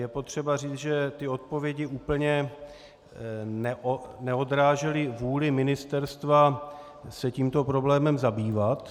Je potřeba říct, že ty odpovědi úplně neodrážely vůli ministerstva se tímto problémem zabývat.